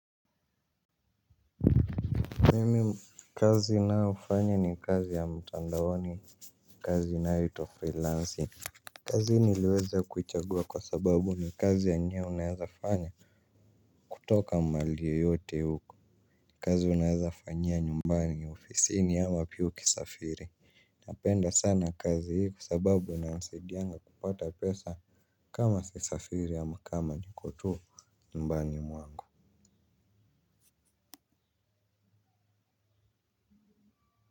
Mimi kazi nayofanya ni kazi ya mtandaoni kazi inayoitwa freelancing. Kazi niliweza kuichagua kwa sababu ni kazi yenye unawezafanya kutoka mahali yoyote huku. Kazi unaezafanyia nyumbani ofisini au wapia ukisafiri. Napenda sana kazi hii kwa sababu inanisaidianga kupata pesa kama sisafiri ama kama nikotu nyumbani mwangu.